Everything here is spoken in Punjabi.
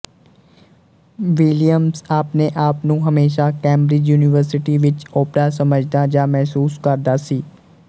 ਵਿਲੀਅਮਸ ਆਪਣੇ ਆਪਨੂੰ ਹਮੇਸ਼ਾ ਕੇਮਬਰਿਜ ਯੂਨੀਵਰਸਿਟੀ ਵਿੱਚ ਓਪਰਾ ਸਮਝਦਾ ਜਾਂ ਮਹਿਸੂਸ ਕਰਦਾ ਸੀ